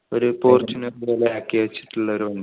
ഒരു ഫോർച്യൂണർ പോലെ ആക്കി വച്ചിട്ടുള്ള വണ്ടി